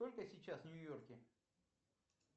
сколько сейчас в нью йорке